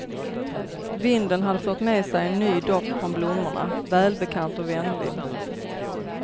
Vinden hade fört med sig en ny doft från blommorna, välbekant och vänlig.